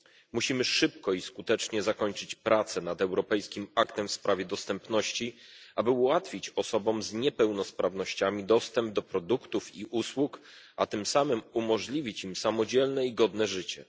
Musimy szybko i skutecznie zakończyć prace nad europejskim aktem w sprawie dostępności, aby ułatwić osobom z niepełnosprawnościami dostęp do produktów i usług, a tym samym umożliwić im samodzielne i godne życie.